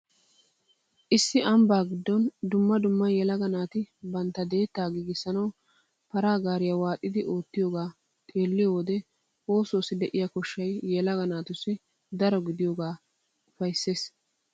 Issi ambbaa giddon dumma dumma yelaga naati bantta deettaa giigissanawu paraa gaariya waaxidi oottiyogaa xeelliyo wode oosuwassi de'iya koshshay yelaga natussi daro gidiyogee ufayssees.